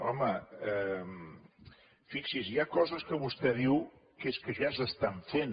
home fixi’s hi ha coses que vostè diu que és que ja s’estan fent